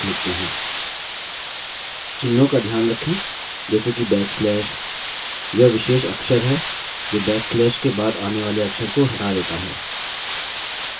चिन्हों का ध्यान रखें जैसे कि बैक स्लैश यह विशेष अक्षर हैं जो बैक स्लैश के बाद आने वाले अक्षर को हटा देता है